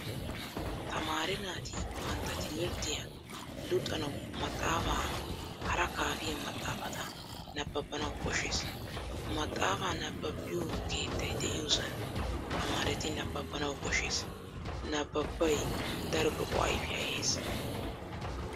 Tamaare naati bantta timirttiyaa luxanawu maxaafaa hara kaafiyaa maxaafata nabbabanawu koshshees. Maxaafaa nabbabbiyo keettay de'iyosan tamaaretti nabbabbanawu koshshees. Nabbabbay daro lo'o ayfiyaa ehees.